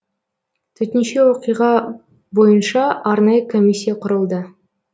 төтенше оқиға бойынша арнайы комиссия құрылды